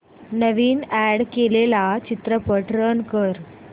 नवीन add केलेला चित्रपट run कर